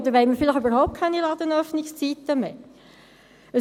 Oder wollen wir überhaupt keine Ladenöffnungszeiten mehr?